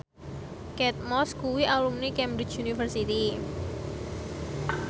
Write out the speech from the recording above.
Kate Moss kuwi alumni Cambridge University